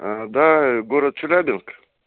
до город челябинск